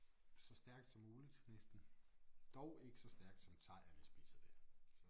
Så stærkt som muligt næsten. Dog ikke så stærkt som thaierne spiser det så